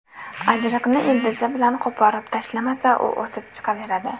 Ajriqni ildizi bilan qo‘porib tashlamasa, u o‘sib chiqaveradi.